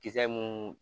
Kisɛ mun